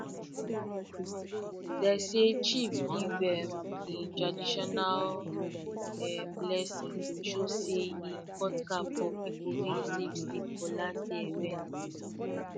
de um chief give um e traditional um blessing to show say e cut cap for people wey save seed for last year event